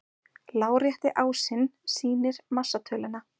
Lárétti ásinn sýnir massatöluna.